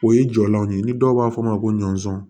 O ye jɔlanw ye ni dɔw b'a fɔ a ma ko ɲɔnsɔn